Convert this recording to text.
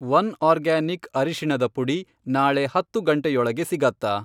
One organic ಅರಿಶಿಣದ ಪುಡಿ ನಾಳೆ ಹತ್ತು ಗಂಟೆಯೊಳಗೆ ಸಿಗತ್ತಾ?